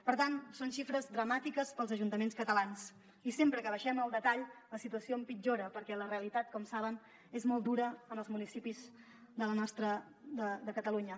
per tant són xifres dramàtiques per als ajuntaments catalans i sempre que baixem al detall la situació empitjora perquè la realitat com saben és molt dura en els municipis de catalunya